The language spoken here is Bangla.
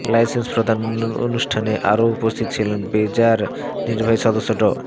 লাইসেন্স প্রদান অনুষ্ঠানে আরও উপস্থিত ছিলেন বেজার নির্বাহী সদস্য ড